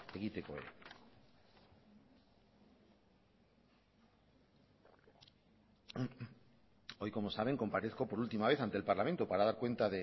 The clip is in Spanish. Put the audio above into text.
egiteko ere hoy como saben comparezco por última vez ante el parlamento para dar cuenta